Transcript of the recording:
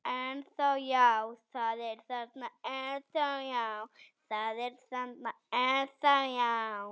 Það er þarna ennþá, já.